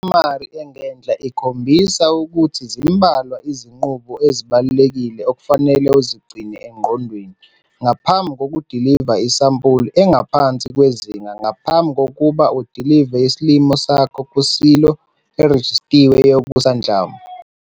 Lesamari engenhla ikhombisa ukuthi zimbalwa izinqubo ezibalulekile okufanele uzigcine engqondweni ngaphambi kokudiliva isampuli engaphansi kwezinga ngaphambi kokuba udilive isilimo sakho kusilo erejistiwe yokusanhlamvu.